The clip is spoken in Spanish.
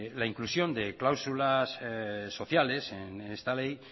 la inclusión de cláusulas sociales en esta ley